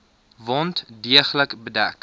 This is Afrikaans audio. wond deeglik bedek